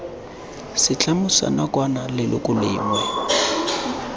setlamo sa nakwana leloko lengwe